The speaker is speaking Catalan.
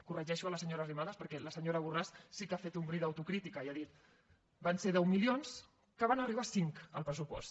corregeixo la senyora arrimadas perquè la senyora borràs sí que ha fet un bri d’autocrítica i ha dit van ser deu milions que van arribar a cinc al pressupost